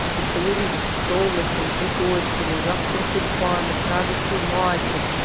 ассоциируешься солнышком цветочками с запахом тюльпаны с радостью матери